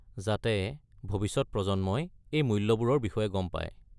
যাতে ভবিষ্যত প্ৰজন্মই এই মূল্যবোৰৰ বিষয়ে গম পায়।